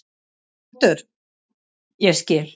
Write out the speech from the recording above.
ÞORVALDUR: Ég skil.